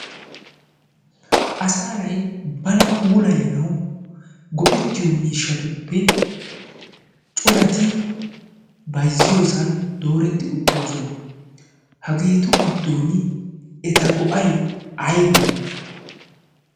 asanay bana puulayanau go'ittiyo miishshatuppe corati baizziyoosan dooretti uttirosona hageetu giddon eta go'ay aybee?